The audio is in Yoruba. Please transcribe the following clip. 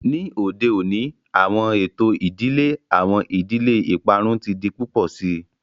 Ni ode oni awọn eto idile, awọn idile iparun ti di pupọ sii.